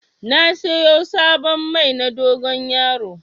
Na siyo sabon Mai na dogon yaro